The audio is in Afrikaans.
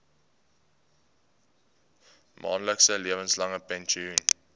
maandelikse lewenslange pensioen